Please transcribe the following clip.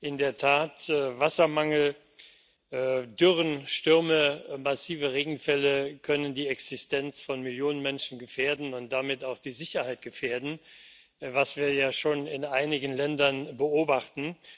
In der Tat Wassermangel, Dürren, Stürme, massive Regenfälle können die Existenz von Millionen Menschen gefährden und damit auch die Sicherheit gefährden, was wir ja schon in einigen Ländern beobachten.